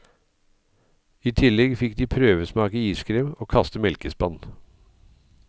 I tillegg fikk de prøvesmake iskrem og kaste melkespann.